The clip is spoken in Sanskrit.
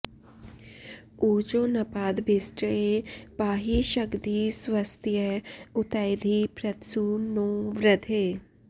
ऊर्जो॑ नपाद॒भिष्ट॑ये पा॒हि श॒ग्धि स्व॒स्तय॑ उ॒तैधि॑ पृ॒त्सु नो॑ वृ॒धे